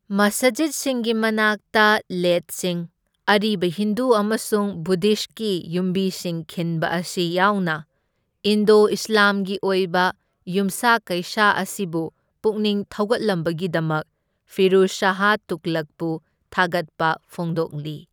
ꯃꯁꯖꯤꯠꯁꯤꯡꯒꯤ ꯃꯅꯥꯛꯇ ꯂꯦꯠꯁꯤꯡ, ꯑꯔꯤꯕ ꯍꯤꯟꯗꯨ ꯑꯃꯁꯨꯡ ꯕꯨꯙꯤꯁꯠꯀꯤ ꯌꯨꯝꯕꯤꯁꯤꯡ ꯈꯤꯟꯕ ꯑꯁꯤ ꯌꯥꯎꯅ ꯏꯟꯗꯣ ꯏꯁꯂꯥꯝꯒꯤ ꯑꯣꯏꯕ ꯌꯨꯝꯁꯥ ꯀꯩꯁꯥ ꯑꯁꯤꯕꯨ ꯄꯨꯛꯅꯤꯡ ꯊꯧꯒꯠꯂꯝꯕꯒꯤꯗꯛ ꯐꯤꯔꯨꯖ ꯁꯥꯍ ꯇꯨꯒꯂꯛꯄꯨ ꯊꯥꯒꯠꯄ ꯐꯣꯡꯗꯣꯛꯂꯤ꯫